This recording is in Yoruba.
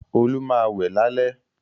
Olu má wẹ̀ lálẹ̀.